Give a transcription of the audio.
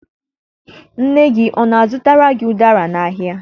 Nne gị ọ na-azụtara gị ụdara n'ahịa?